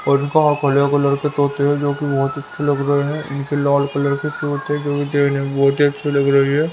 और यहां हरे कलर के तोते हैं जो कि बहुत अच्छे लग रहे हैं इनकी लाल कलर की चोंच है जो देखने में बहुत ही अच्छी लग रही है।